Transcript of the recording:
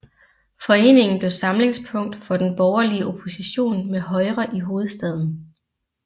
Foreningen blev samlingspunkt for den borgerlige opposition mod Højre i hovedstaden